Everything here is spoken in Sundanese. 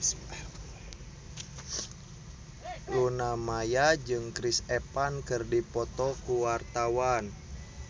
Luna Maya jeung Chris Evans keur dipoto ku wartawan